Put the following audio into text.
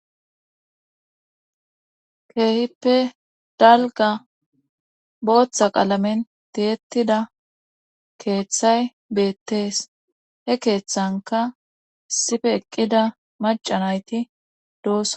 keehippe dalga booththa qalamen tiyetida keeththay beettees he keeththanka sife eqqida macanayti doosona